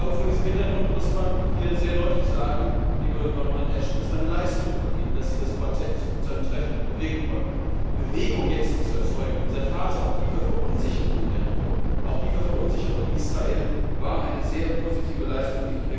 Vor diesem Hintergrund muss man hier sehr deutlich sagen, liebe Baronin Ashton, es war eine Leistung von Ihnen, dass sie das Quartett zu einem Treffen bewegen konnten. Bewegung zu erzeugen jetzt in dieser Phase tiefer Verunsicherung in der Region, auch tiefer Verunsicherung in Israel, war eine sehr positive Leistung.